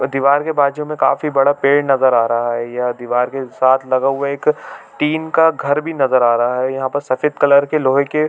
दिवार के बहार जो हमे काफी बड़ा पेड़ नज़र आ रहा है यह दिवार के साथ लगा हुआ एक टीन का घर भी नज़र आ रहा है यह पर सफ़ेद कलर के लोहे के--